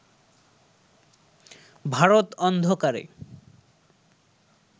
ভারত অন্ধকারে